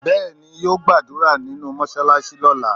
Bẹẹni, yo gbàdúrà nínú mọsalasi lóla